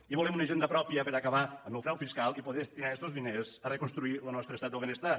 i volem una hisenda pròpia per a acabar amb el frau fiscal i poder destinar estos diners a reconstruir lo nostre estat del benestar